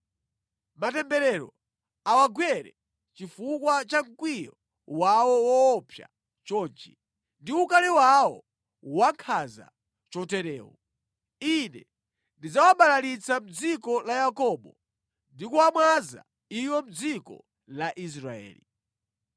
Matemberero awagwere chifukwa cha mkwiyo wawo woopsa chonchi ndi ukali wawo wankhanza choterewu! Ine ndidzawabalalitsa mʼdziko la Yakobo ndi kuwamwaza iwo mʼdziko la Israeli.